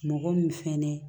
Mɔgɔ min fɛnɛ